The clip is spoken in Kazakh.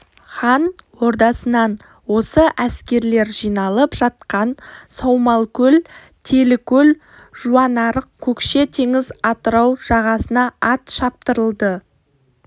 хан ордасынан осы әскерлер жиналып жатқан саумалкөл телікөл жуанарық көкше теңіз атырау жағасына ат шаптырылды